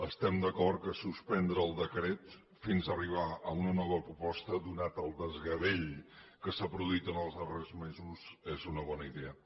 estem d’acord que suspendre el decret fins arribar a una nova proposta donat el desgavell que s’ha produït en els darrers mesos és una bona idea